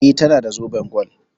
E, tana da zoben gwal.